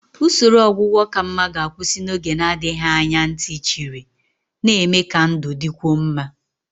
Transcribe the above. Usoro ọgwụgwọ ka mma ga-akwụsị n'oge na-adịghị anya ntị chiri, na-eme ka ndụ dịkwuo mma.